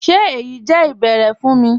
Ṣé èyí jẹ́ ìbẹ̀ẹ̀rẹ̀ fún mí?